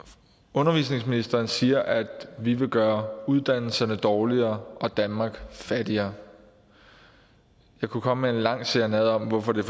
undervisningsministeren siger at vi vil gøre uddannelserne dårligere og danmark fattigere og jeg kunne komme med en lang serenade om hvorfor det